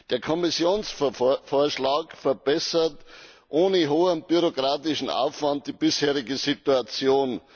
Der Kommissionsvorschlag verbessert ohne hohen bürokratischen Aufwand die bisherige Situation.